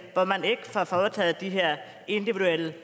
hvor man ikke får foretaget de her individuelle